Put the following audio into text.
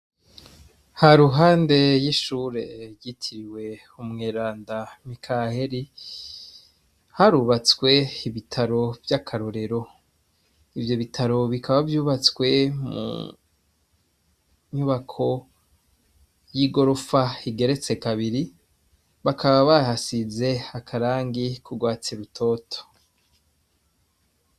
Ha ruhande y'ishure yitiriwe umweranda mikaheli harubatswe ibitaro vy'akarorero ivyo bitaro bikaba vyubatswe mu nyubako y'i gorofa higeretse kabiri bakaba baha size akarangi kugwatsirutoto.